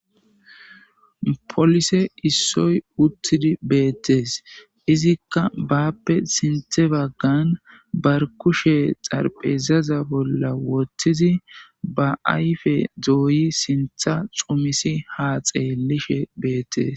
Polise issoy uttidi beettees izikka baappe sinthe baggan bar kushe xarphezaza bolla wottizi ba ayfe dooyi sintha xumisi ha xeellishe beettees.